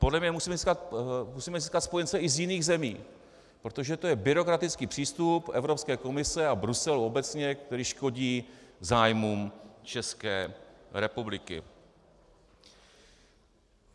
Podle mne musíme získat spojence i z jiných zemí, protože to je byrokratický přístup Evropské komise a Bruselu obecně, který škodí zájmům České republiky.